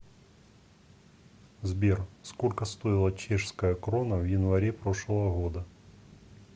сбер сколько стоила чешская крона в январе прошлого года